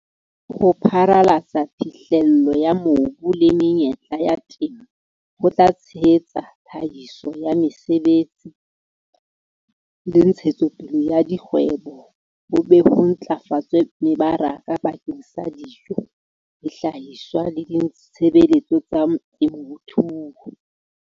Ho pharalatsa phihlello ya mobu le menyetla ya temo ho tla tshehetsa tlhahiso ya mesebetsi le ntshetsopele ya dikgwebo, ho be ho ntlafatse mebaraka bakeng sa dijo, dihlahiswa le ditshebeletso tsa temothuo.